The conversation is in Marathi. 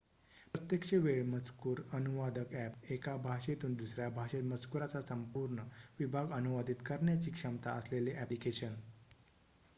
प्रत्यक्ष वेळ मजकूर अनुवादक ॲप एका भाषेतून दुसऱ्या भाषेत मजकूराचा संपूर्ण विभाग अनुवादीत करण्याची क्षमता असलेले ॲप्लिकेशन